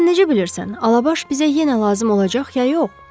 Sən necə bilirsən Alabaş bizə yenə lazım olacaq ya yox?